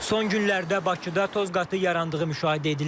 Son günlərdə Bakıda toz qatı yarandığı müşahidə edilir.